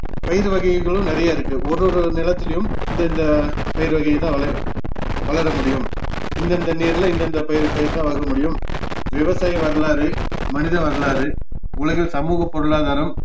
பயிர் வகைகளும் நிறையா இருக்கு ஒரு ஒரு நிலத்துலையும் இந்தந்த பயிர் வகைதான் வெளைய~ வளர முடியும் இந்தந்த நீர்ல இந்தந்த பயிர் பயிர்தான் வளர முடியும் விவசாய வரலாறு, மனித வரலாறு, உலகசமூக பொருளாதாரம்,